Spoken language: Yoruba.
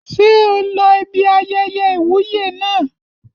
Ṣé o lọ ibi ayẹyẹ ìwúyè naa?